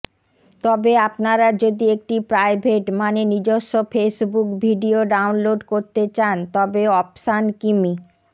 তবে আপনারা যদি একটি প্রাইভেট মানে নিজস্ব ফেসবুক ভিডিও ডাউনলোড করতে চান তবে অপশান কিমি